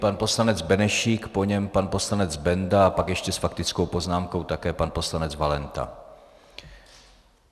Pan poslanec Benešík, po něm pan poslanec Benda a pak ještě s faktickou poznámkou také pan poslanec Valenta.